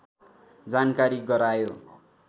जानकारी गरायो